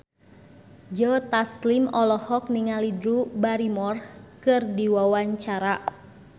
Joe Taslim olohok ningali Drew Barrymore keur diwawancara